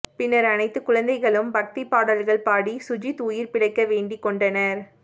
பின்னா் அனைத்து குழந்தைகளும் பக்திப் பாடல்கள் பாடி சுஜித் உயிா் பிழைக்க வேண்டிக் கொண்டனா்